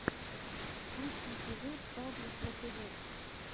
лучший эпизод павла про тв